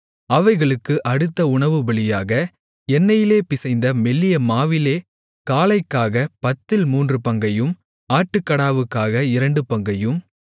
அவைகளுக்கு அடுத்த உணவுபலியாக எண்ணெயிலே பிசைந்த மெல்லிய மாவிலே காளைக்காகப் பத்தில் மூன்று பங்கையும் ஆட்டுக்கடாவுக்காக இரண்டு பங்கையும்